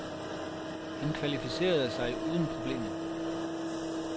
Han kvalificerede sig uden problemer.